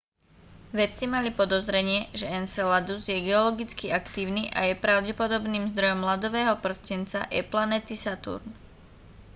vedci mali podozrenie že enceladus je geologicky aktívny a je pravdepodobným zdrojom ľadového prstenca e planéty saturn